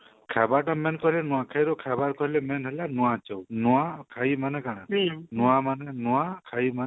ଖାଇବା ତା main କରି ନୂଆଖାଇର ଖାଇବା କହିଲେ main ହେଲା ନୂଆ ଚାଉଲ ନୂଆ ଖାଇମାନେ କାଣା ନୂଆ ମାନେ ନୂଆ ଖାଇ ମାନେ